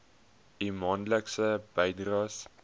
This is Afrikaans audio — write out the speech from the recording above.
u maandelikse bydraes